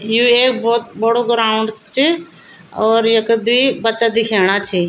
यु एक भोत बड़ु ग्राउंड च और यख दुई बच्चा दिखेणा छिं।